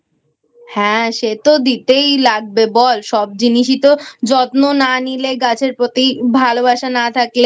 হ্যাঁ সে তো দিতেই লাগবে বল সব জিনিসই তো যত্ন না নিলে গাছের প্রতি ভালোবাসা না থাকলে